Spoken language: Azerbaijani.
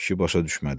Kişi başa düşmədi.